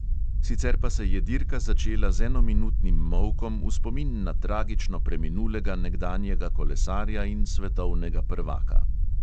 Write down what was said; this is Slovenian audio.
Sicer pa se je dirka začela z enominutnim molkom v spomin na tragično preminulega nekdanjega kolesarja in svetovnega prvaka.